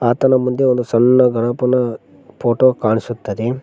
ಸುತ್ತಲು ಮುಂದೆ ಒಂದು ಸಣ್ಣ ಗಣಪನ ಫೋಟೋ ಕಾಣಿಸುತ್ತದೆ.